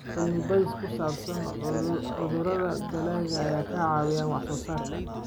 Cilmi-baadhis ku saabsan cudurrada dalagga ayaa ka caawiya wax-soo-saarka.